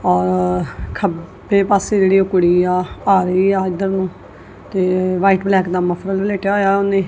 ਔਰ ਖੱਬੇ ਪਾਸੇ ਜਿਹੜੀ ਉਹ ਕੁੜੀ ਆ ਆ ਰਹੀ ਏ ਇੱਧਰ ਨੂੰ ਤੇ ਵਾਈਟ ਬਲੈਕ ਦਾ ਮਫਲਰ ਲਪੇਟਿਆ ਹੋਇਆ ਉਹਨੇ।